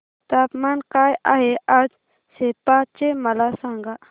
तापमान काय आहे आज सेप्पा चे मला सांगा